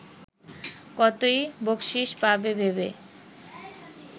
কতই বকশিশ পাবে ভেবে